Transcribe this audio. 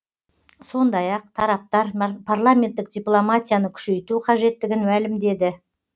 сондай ақ тараптар парламенттік дипломатияны күшейту қажеттігін мәлімдеді